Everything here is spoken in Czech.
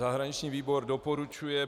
Zahraniční výbor doporučuje